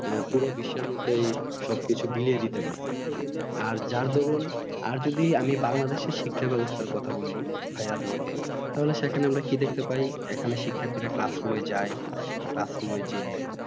আহ পুর বিশ্ব এর মধ্যেয়ে সব কিছু বিলিয়ে দিতে পারছে আর যার দরুন আর যদি বাংলাদেশের শিক্ষা ব্যাবস্থার কথা বলি ভাইয়া তোমাকে তাহলে সেখানে আমরা কি দেখতে পাই এখানে শিক্ষার্থীরা Classroom এ যাই Classroom জিয়ে